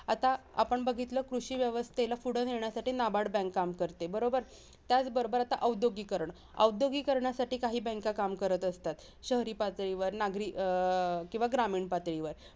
आता आपण बघितलं कृषीव्यवस्थेला पुढं नेण्यासाठी NABARD bank काम करते, बरोबर? त्याच बरोबर, आता औद्योगिकीकरण, औद्योगिकीकरणासाठी काही banks काम करत असतात. शहरी पातळीवर नागरी किंवा अं ग्रामीण पातळीवर